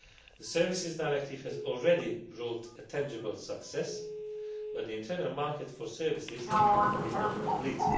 The Services Directive has already brought a tangible success, but the internal market for services is not complete.